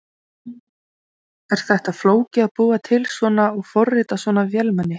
Jóhanna Margrét: Er þetta flókið að búa til svona og forrita svona vélmenni?